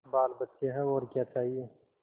बालबच्चे हैं और क्या चाहिए